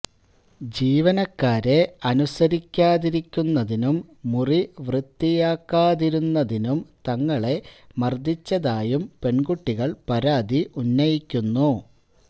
ജീവനക്കാരെ അനുസരിക്കാതിരുന്നതിനും മുറി വൃത്തിയാക്കാതിരുന്നതിനും തങ്ങളെ മർദിച്ചതായും പെൺകുട്ടികൾ പരാതി ഉന്നയിക്കുന്നു